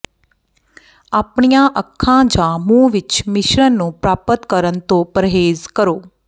ਆਪਣੀਆਂ ਅੱਖਾਂ ਜਾਂ ਮੂੰਹ ਵਿੱਚ ਮਿਸ਼ਰਣ ਨੂੰ ਪ੍ਰਾਪਤ ਕਰਨ ਤੋਂ ਪਰਹੇਜ਼ ਕਰੋ